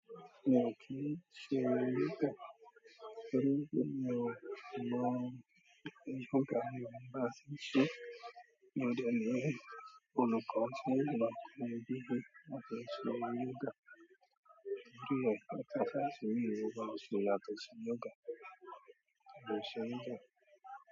Mi ò kí ń ṣe yoga, torí pé mi ò mọ yoga mi o mọ̀ bá ti n ṣe mi ọ̀ dẹ̀ le rì ẹni. Ọ̀nà kan ti ṣé ìgbà kan gbígbé wa tó ṣe yoga, torí ọ̀pá tata sì mú wa wọlé láti ṣe yoga, mo ṣe yoga.